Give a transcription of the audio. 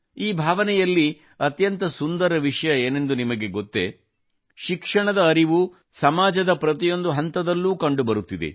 ಈ ಭಾವನೆಯಲ್ಲಿ ಅತ್ಯಂತ ಸುಂದರ ವಿಷಯ ಏನೆಂದು ನಿಮಗೆ ಗೊತ್ತೇ ಶಿಕ್ಷಣದ ಬಗ್ಗೆ ಅರಿವು ಸಮಾಜದ ಪ್ರತಿಯೊಂದು ಹಂತದಲ್ಲೂ ಕಂಡುಬರುತ್ತಿದೆ